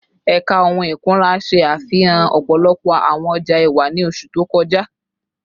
Ẹka ohun ikunra ṣe afihan ọpọlọpọ awọn ọja ẹwa ni oṣu to kọja